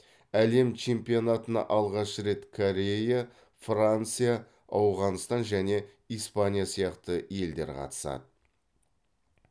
әлем чемпионатына алғаш рет корея франция ауғанстан және испания сияқты елдер қатысады